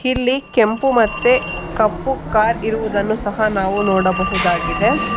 ಇಲ್ಲಿ ಕೆಂಪು ಮತ್ತೆ ಕಪ್ಪು ಕಾರ್ ಇರುವುದನ್ನು ಸಹ ನಾವು ನೋಡಬಹುದಾಗಿದೆ.